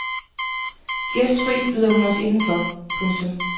Gæstfri byder hun os indenfor. punktum